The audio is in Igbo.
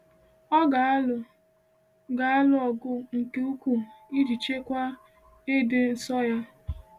Ọ ga-alụ ga-alụ ọgụ nke ukwuu iji chekwaa ịdị nsọ ya.